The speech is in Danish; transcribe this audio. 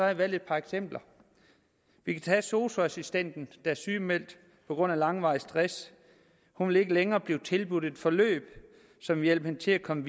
jeg valgt et par eksempler vi kan tage sosu assistenten der er sygemeldt på grund af langvarig stress hun vil ikke længere blive tilbudt et forløb som vil hjælpe hende til at komme